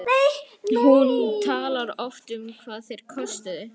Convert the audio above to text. Hún talar oft um hvað þeir kostuðu.